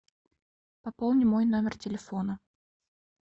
пополни мой номер телефона